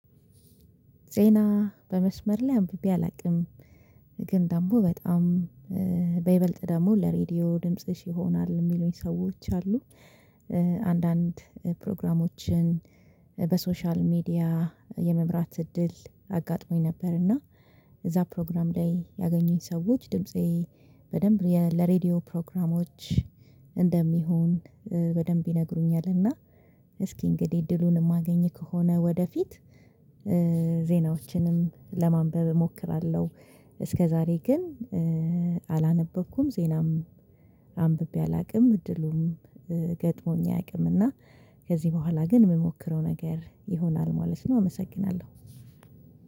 ዜና በመስመር ላይ አንብቤ አላውቅም ግን ደግሞ በጣም በይበልጥ ደግሞ ለሬዲዮ ድምጽሽ ይሆናል የሚሉኝ ሰዎች አሉ። አንዳንድ ፕሮግራሞችን በሶሻል ሚዲያ የመምራት እድል አጋጥሞኝ ነበር። እና እዛ ፕሮግራም ላይ ያገኙኝ ሰዎች ድምፄ በደንብ ለሬዲዮ ፕሮግራሞች እንደሚሆን በደንብ ይነግሩኛል። እና እስኪ እንግዲህ እድሉን የማገኝ ከሆነ ወደፊት ዜናዎችንም ለማንበብ እሞክራለሁ። እስከዛሬ ግን አላነበብኩም ዜናም አንብቤ አላውቅም እድሉም ገጥሞኝ አያውቅም እና ከዚህ በኋላ ግን የምሞክረው ነገር ይሆናል ማለት ነው። አመሰግናለሁ።